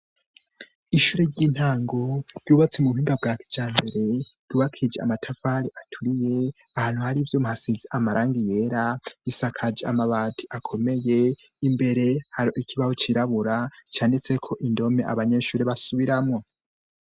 Ishure ry'intango ryubatse mu buhinga bwa kijambere ryubakije amatafari aturiye , ahantu hari vyo muhasizi amarangi yera, isakaje amabati akomeye, imbere hari ikibaho cirabura canditseko indome abanyeshure basubiramwo.